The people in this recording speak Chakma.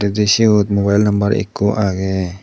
je siyot mobile number ekko aage.